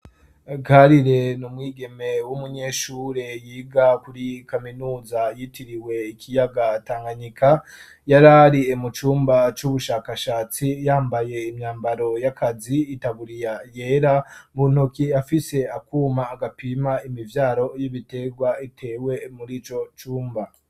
Karire n umwigeme w'umunyeshure yiga kuri kaminuza yitiriwe ikiyaga Tanganyika yarari mu cumba c'ubushakashatsi yambaye imyambaro yakazi itaburiya yera mu ntoki afise akuma gapima imivyaro y'ibitegwa itewe murico cumba.